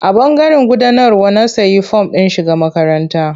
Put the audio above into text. A ɓangaren gudanarwa na sayi form ɗin shiga makaranta.